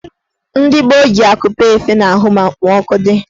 Ndị gboo ji akupe efe n'ahụ ma okpomọọkụ dị.